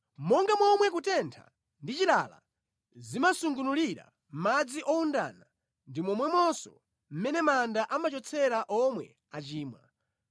Monga momwe kutentha ndi chilala zimasungunulira madzi owundana ndi momwemonso mmene manda amachotsera omwe achimwa.